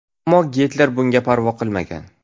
Ammo Gitler bunga parvo qilmagan.